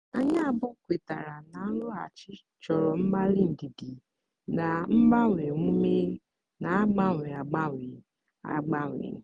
anyị abụọ kwetara na nrụghachi chọrọ mgbalị ndidi na mgbanwe omume na-agbanwe agbanwe. agbanwe.